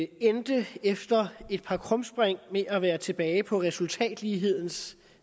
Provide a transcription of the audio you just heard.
endte efter et par krumspring med at være tilbage på resultatlighedens